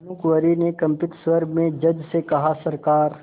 भानुकुँवरि ने कंपित स्वर में जज से कहासरकार